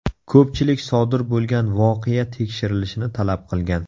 Ko‘pchilik sodir bo‘lgan voqea tekshirilishini talab qilgan.